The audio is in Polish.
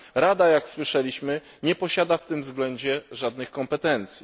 Rada jak słyszeliśmy nie posiada w tym względzie żadnych kompetencji.